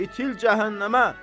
İtil cəhənnəmə!